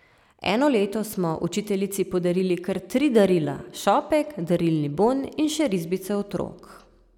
Eno leto smo učiteljici podarili kar tri darila, šopek, darilni bon in še risbice otrok.